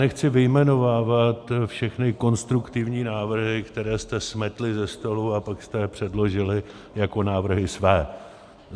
Nechci vyjmenovávat všechny konstruktivní návrhy, které jste smetli ze stolu, a pak jste je předložili jako návrhy své.